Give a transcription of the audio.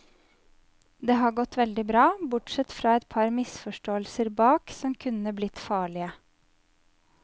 Det har gått veldig bra, bortsett fra et par misforståelser bak som kunne blitt farlige.